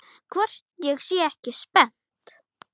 Hvort ég sé ekki spennt?